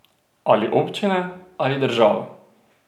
Ali občine ali država?